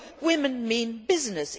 So women mean business